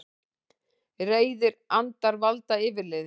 Reiðir andar valda yfirliði